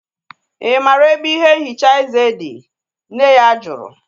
I maara ebe ihe nhicha eze dị? Nne ya jụrụ